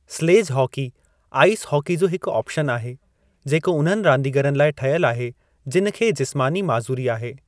Sledge hockey ice hockey जो हिकु option आहे जेको उन्हनि रांदीगरनि लाइ ठहियल आहे जिनि खे जिस्मानी माज़ूरी आहे।